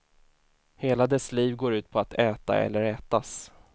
Hela dess liv går ut på att äta eller ätas.